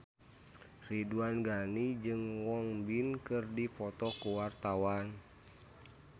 Ridwan Ghani jeung Won Bin keur dipoto ku wartawan